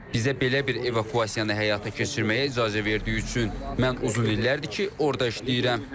Bizə belə bir evakuasiyanı həyata keçirməyə icazə verdiyi üçün mən uzun illərdir ki, orda işləyirəm.